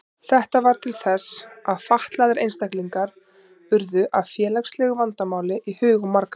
Þetta varð til þess að fatlaðir einstaklingar urðu að félagslegu vandamáli í hugum margra.